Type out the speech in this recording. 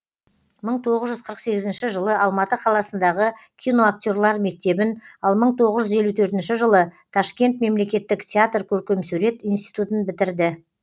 мың тоғыз жүз қырық сегізінші жылы алматы қаласындағы киноактерлар мектебін ал мың тоғыз жүз елу төртінші жылы ташкент мемлекеттік театр көркемсурет институтын бітірді